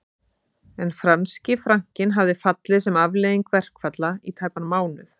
En franski frankinn hafði fallið sem afleiðing verkfalla í tæpan mánuð